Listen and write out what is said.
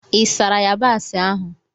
Ị sara yabasị ahụ?